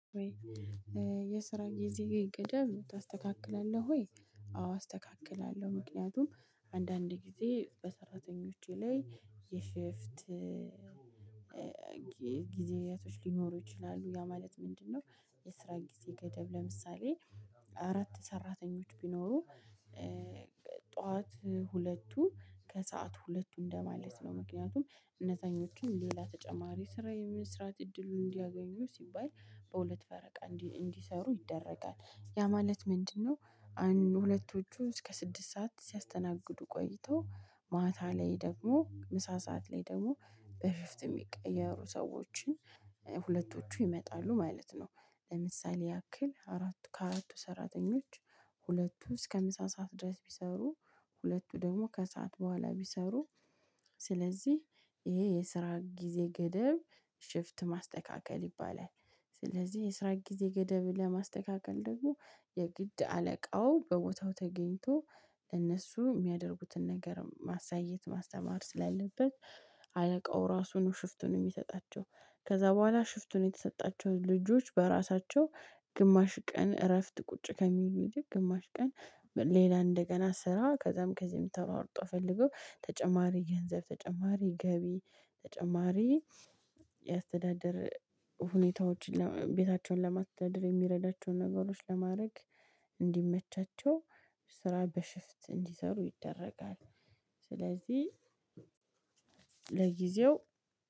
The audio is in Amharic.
ወይ? የስራ ጊዜ ገደብ ታስተካክላለህ ወይ? አዎ አስተካክላለሁ ምክንያቱም አንዳንድ ጊዜ በሰራተኞቼ ላይ የሽፍት ጊዜያቶች ሊኖሩ ይችላሉ ያ ማለት ምንድነው? የስራ ጊዜ ገደብ ለምሳሌ አራት ሰራተኞች ቢኖሩ ጠዋት ሁለቱ ከሰአት ሁለቱ እንደማለት ነው ምክንያቱም እነዛኞቹም ሌላ ተጨማሪ ስራ የመስራት እድሉን እንዲያገኙ ሲባል በሁለት ፈረቃ እንዲ እንዲሰሩ ይደረጋል። ያ ማለት ምንድነው? አንድ ሁለቶቹ እስከ ስድስት ሰዓት ሲያስተናግዱ ቆይቶ ማታ ላይ ደግሞ ምሳ ሰዓት ላይ ደግሞ በሽፍት የሚቀየሩ ሰዎችን ሁለቶቹ ይመጣሉ ማለት ነው። ለምሳሌ ያክል አራቱ ከአራቱ ሰራተኞች ሁለቱ እስከ ሃምሳ ሰዓት ድረስ ቢሰሩ ሁለቱ ደግሞ ከሰአት በኋላ ቢሰሩ ስለዚህ ይሄ የስራ ጊዜ ገደብ ሽፍት ማስተካከል ይባላል። ስለዚህ የስራ ጊዜ ገደብ ለማስተካከል ደግሞ የግድ አለቃው በቦታው ተገኝቶ ለእነሱ የሚያደርጉትን ነገር ማሳየት ማስተማር ስላለበት አለቃው ራሱ ነው ሽፍቱን የሚሰጣቸው። ከዛ በኋላ ሽፍቱን የተሰጣቸው ልጆች በራሳቸው ግማሽ ቀን እረፍት ቁጭ ከሚሉ ይልቅ ግማሽ ቀን ሌላ እንደገና ስራ ከዛም ከዚህ ተሯሩጠው ፈልገው ተጨማሪ ገንዘብ ተጨማሪ ገቢ ተጨማሪ የአስተዳደር ሁኔታዎችን ቤታቸውን ለማስተዳደር የሚረዳቸውን ነገሮች ለማድረግ እንዲመቻቸው ስራ በሽፍት እንዲሰሩ ይደረጋል። ስለዚህ ለጊዜው